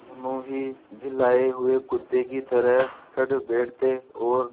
दोनों ही झल्लाये हुए कुत्ते की तरह चढ़ बैठते और